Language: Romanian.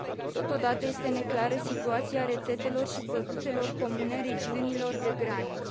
Totodată, este neclară situația rețetelor și produselor comune regiunilor de graniță.